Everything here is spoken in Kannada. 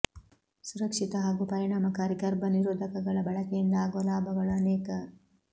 ಸುರಕ್ಷಿತ ಹಾಗೂ ಪರಿಣಾಮಕಾರಿ ಗರ್ಭ ನಿರೋಧಕಗಳ ಬಳಕೆಯಿಂದ ಆಗುವ ಲಾಭಗಳು ಅನೇಕ